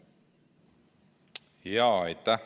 Aitäh!